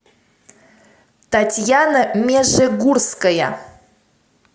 татьяна межегурская